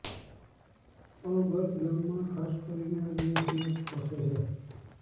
અલગટ ગામમાં ખાસ કરીને આદિવાસી લોકો વસે છે